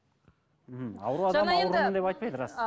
м ауру адам аурумын деп айтпайды рас